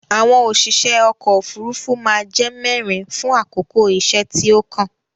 Àwọn òṣìṣe ọkò òfurufú má a jẹ́ mẹ́rin fún àkókò iṣẹ́ tí ó kàn.